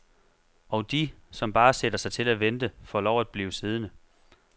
Og de, som bare sætter sig til at vente, får lov at blive siddende.